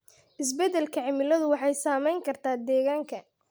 Isbeddelka cimiladu waxay saameyn kartaa deegaanka.